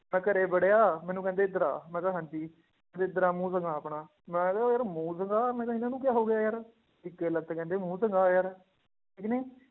ਮੈਂ ਘਰੇ ਵੜਿਆ ਮੈਨੂੰ ਕਹਿੰਦੇ ਇੱਧਰ ਆ, ਮੈਂ ਕਿਹਾ ਹਾਂਜੀ ਕਹਿੰਦੇ ਇੱਧਰ ਆ ਮੂੰਹ ਦਿਖਾ ਆਪਣਾ ਮੈਂ ਕਿਹਾ ਯਾਰ ਮੂੰਹ ਦਿਖਾ ਮੈਂ ਕਿਹਾ ਇਹਨਾਂ ਨੂੰ ਕਿਆ ਹੋ ਗਿਆ ਯਾਰ, ਇੱਕੇ ਲੱਗਤੇ ਕਹਿੰਦੇ ਮੂੰਹ ਦਿਖਾ ਯਾਰ ਠੀਕ ਨੀ